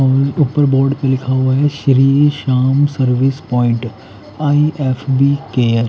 सामने ऊपर बोर्ड लिखा हुआ है Shri Shyam service point on F B care --